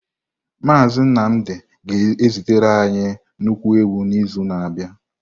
Mazị Nnamdị ga-ezitere anyị anụ ewu n’izu na-abịa.